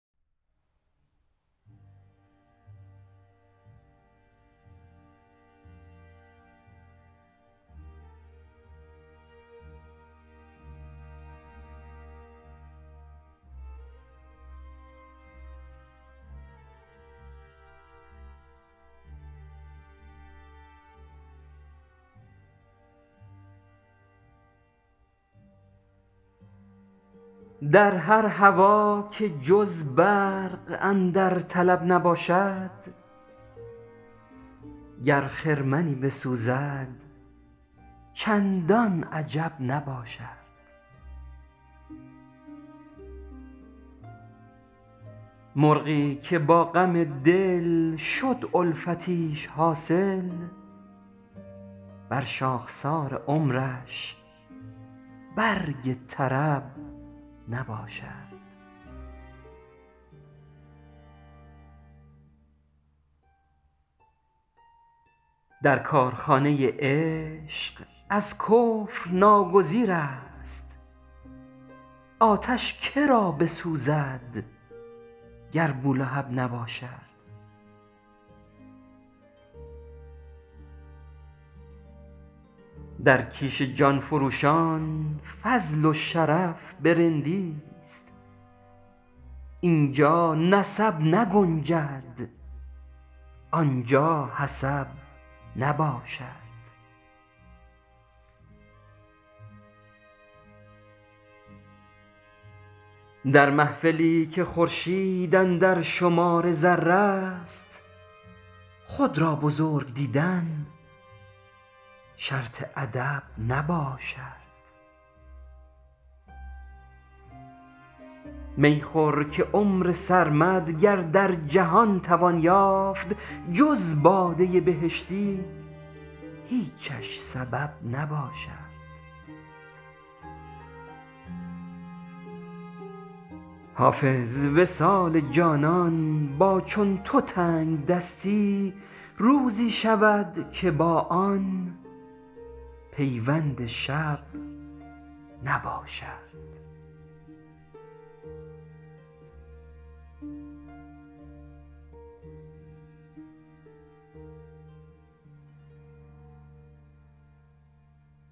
در هر هوا که جز برق اندر طلب نباشد گر خرمنی بسوزد چندان عجب نباشد مرغی که با غم دل شد الفتیش حاصل بر شاخسار عمرش برگ طرب نباشد در کارخانه عشق ازکفر ناگزیر است آتش که را بسوزد گر بولهب نباشد در کیش جان فروشان فضل و شرف به رندیست اینجا نسب نگنجد آنجا حسب نباشد در محفلی که خورشید اندر شمار ذره ست خود را بزرگ دیدن شرط ادب نباشد می خور که عمر سرمد گر درجهان توان یافت جز باده بهشتی هیچش سبب نباشد حافظ وصال جانان با چون تو تنگدستی روزی شود که با آن پیوند شب نباشد